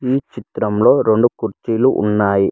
ఈ చిత్రంలో రెండు కుర్చీలు ఉన్నాయి.